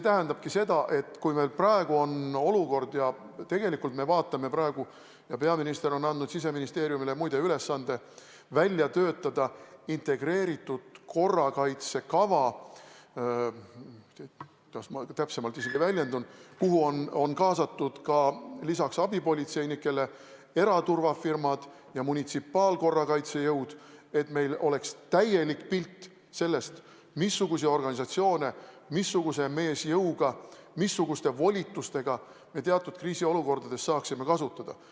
Peaminister on muide andnud Siseministeeriumile ülesande välja töötada integreeritud korrakaitse kava – kuidas ma nüüd täpsemalt väljendun –, kuhu on kaasatud lisaks abipolitseinikele eraturvafirmad ja munitsipaalkorrakaitsejõud, et meil oleks täielik pilt sellest, missuguseid organisatsioone missuguse meesjõuga, missuguste volitustega me teatud kriisiolukordades saaksime kasutada.